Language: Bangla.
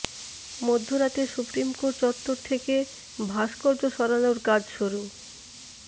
মধ্যরাতে সুপ্রিম কোর্ট চত্বর থেকে ভাস্কর্য সরানোর কাজ শুরু